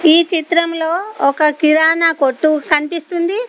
ఈ చిత్రంలో ఒక కిరాణా కొట్టు కనిపిస్తుంది.